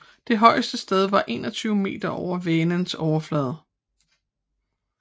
Det højeste sted er 21 meter over Vänerns overflade